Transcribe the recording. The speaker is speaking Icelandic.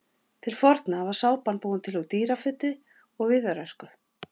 Til forna var sápan búin til úr dýrafitu og viðarösku.